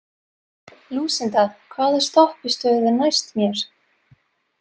Lúsinda, hvaða stoppistöð er næst mér?